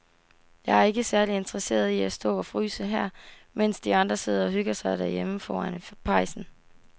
Jeg er ikke særlig interesseret i at stå og fryse her, mens de andre sidder og hygger sig derhjemme foran pejsen.